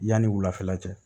Yanni wulafɛla cɛ